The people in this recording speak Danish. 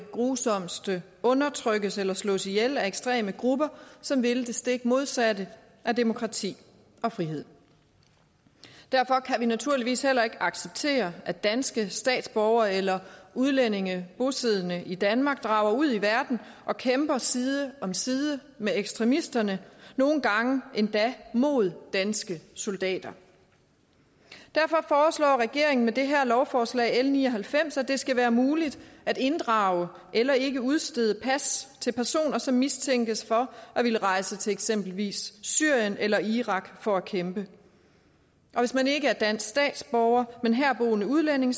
det grusomste undertrykkes eller slås ihjel af ekstreme grupper som vil det stik modsatte af demokrati og frihed derfor kan vi naturligvis heller ikke acceptere at danske statsborgere eller udlændinge bosiddende i danmark drager ud i verden og kæmper side om side med ekstremisterne nogle gange endda mod danske soldater derfor foreslår regeringen med det her lovforslag l ni og halvfems at det skal være muligt at inddrage eller ikke udstede pas til personer som mistænkes for at ville rejse til eksempelvis syrien eller irak for at kæmpe hvis man ikke er dansk statsborger men herboende udlænding